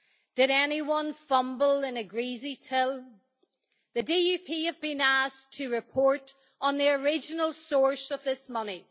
Did anyone fumble in a greasy till? The DUP has been asked to report on the original source of this money.